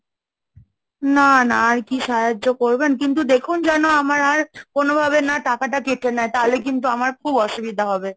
না, না, আর কি সাহায্য করবেন, কিন্তু দেখুন যেন আমার আর কোনো ভাবে না টাকাটা কেটে নেয়, তাহলে কিন্তু আমার খুব অসুবিধা হবে।